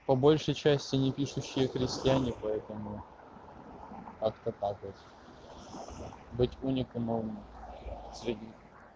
по большей части не пишущие крестьяне поэтому быть уникум средний